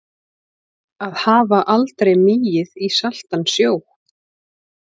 Að hafa aldrei migið í saltan sjó